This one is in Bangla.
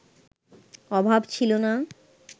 অভাব ছিল না